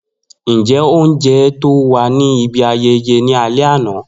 Njẹ ounjẹ to wa ni ibi ayẹyẹ ni alẹ ana?